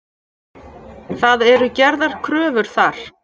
Það eru gerðar kröfur þar.